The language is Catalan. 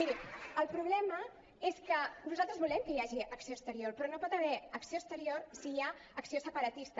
miri el problema és que nosaltres volem que hi hagi acció exterior però no hi pot haver acció exterior si hi ha acció separatista